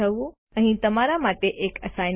અહીં તમારા માટે એક એસાઈનમેન્ટ છે